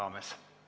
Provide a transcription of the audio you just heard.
Hea peaminister!